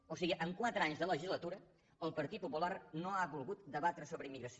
o sigui en quatre anys de legislatura el partit popular no ha volgut debatre sobre immigració